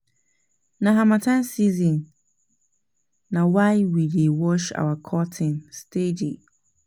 Na harmattan season na why we dey wash our curtain steady.